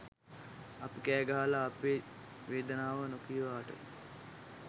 අපි කෑ ගහලා අපේ වේදනාව නොකීවාට